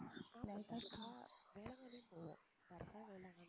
ஆமா தர்கா, வேளாங்கண்ணியும் போவோம் தர்கா, வேளாங்கண்ணி